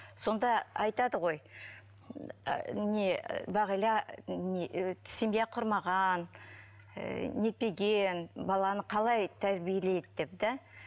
сонда айтады ғой ыыы не бағила не семья құрмаған ііі нетпеген баланы қалай тәрбиелейді деп да